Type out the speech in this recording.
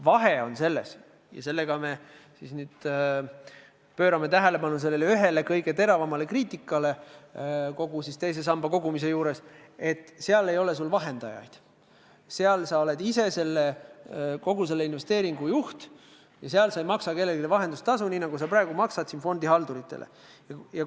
Vahe on selles – ja sellega me pöörame tähelepanu ühele kõige teravamale kriitikale kogu selle teise sambasse kogumise juures –, et investeerimiskonto puhul ei ole sul vahendajaid, seal oled sa ise kogu selle investeeringu juht ja seal ei maksa sa kellelegi vahendustasu, nii nagu sa praegu fondihalduritele maksad.